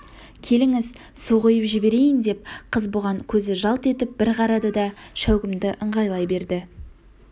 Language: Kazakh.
келіңіз су құйып жіберейін деп қыз бұған көзі жалт етіп бір қарады да шәугімді ыңғайлай берді